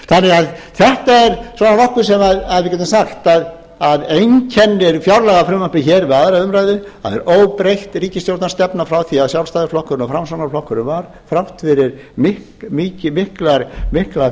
að þetta er nokkuð sem við getum sagt að einkennir fjárlagafrumvarpið við aðra umræðu það er óbreytt ríkisstjórnarstefna frá því að sjálfstæðisflokkurinn og framsóknarflokkurinn var þrátt fyrir mikla